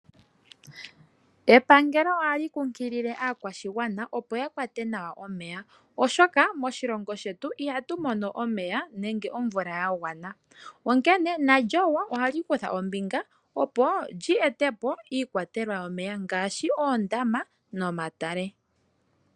Epangelo ohali kunkilile aakwashigwana opo ya kwate nawa omeya, oshoka moshilongo shetu ihatu mono omeya nenge omvula ya gwana. Onkene nalyo ohalyi kutha ombinga, opo lyi etepo iikwatelwa yomeya ngaashi oondama nomatale.